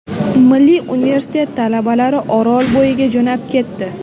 Milliy universitet talabalari Orolbo‘yiga jo‘nab ketdi.